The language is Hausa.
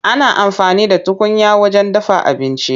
Ana amfani da tukunya wajen dafa abinci.